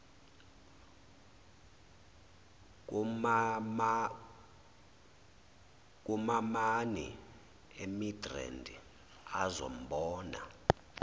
kumamami emidrand azombona